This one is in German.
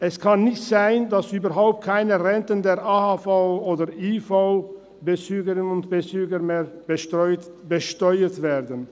Es kann nicht sein, dass überhaupt keine Renten der AHV- und IV-Bezügerinnen und -bezüger mehr besteuert werden.